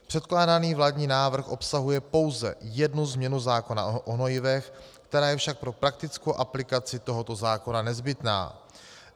Předkládaný vládní návrh obsahuje pouze jednu změnu zákona o hnojivech, která je však pro praktickou aplikaci tohoto zákona nezbytná.